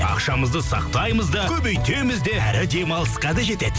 ақшамызды сақтаймыз да көбейтеміз де әрі демалысқа да жетеді